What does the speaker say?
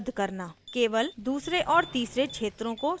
केवल दूसरे और तीसरे क्षेत्रों को सूचीबद्ध करना